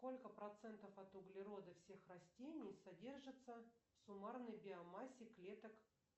сколько процентов от углерода всех растений содержится в суммарной биомассе клеток